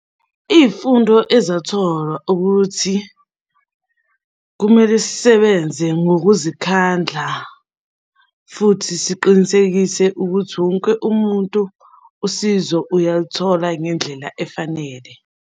Iy'fundo ezatholwa ukuthi kumele sisebenze ngokuzikhandla, futhi siqinisekise ukuthi wonke umuntu usizo uyaluthola ngendlela efanele.